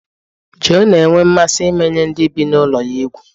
Joe na-enwe mmasị imenye ndị bi na ulo ya egwu